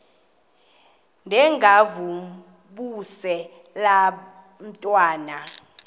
ndengakuvaubuse laa ntwana